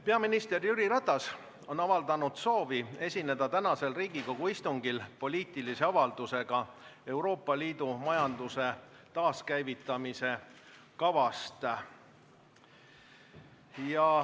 Peaminister Jüri Ratas on avaldanud soovi esineda tänasel Riigikogu istungil poliitilise avaldusega Euroopa Liidu majanduse taaskäivitamise kava kohta.